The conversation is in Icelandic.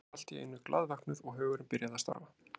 Ég var allt í einu glaðvöknuð og hugurinn byrjaði að starfa.